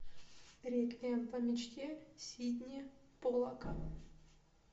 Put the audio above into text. реквием по мечте сидни поллака